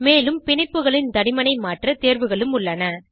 மேலும் பிணைப்புகளின் தடிமனை மாற்ற தேர்வுகளும் உள்ளன